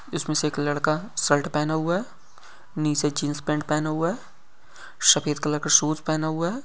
इसमें एक लड़का शर्ट पहना हुआ है। नीचे जीन्स पैन्ट पहना हुआ है। सफेद कलर का शूज पहना हुआ है।